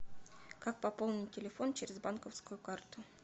как пополнить телефон через банковскую карту